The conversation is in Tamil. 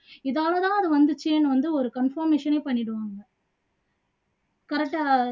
இதால தான் அது வந்துச்சுன்னு வந்து ஒரு conformation ஏ பண்ணிடுவாங்க